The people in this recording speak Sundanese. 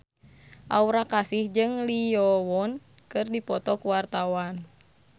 Aura Kasih jeung Lee Yo Won keur dipoto ku wartawan